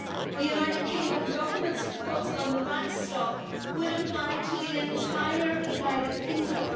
The United Kingdom Government's proposal on the backstop would apply to the entire United Kingdom.